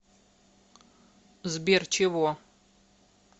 сбер чего